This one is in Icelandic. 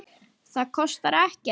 Það kostar ekkert.